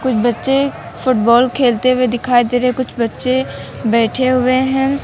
बच्चे फुटबॉल खेलते हुए दिखाई दे रहे कुछ बच्चे बैठे हुए हैं।